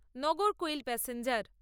Nagercoil passenger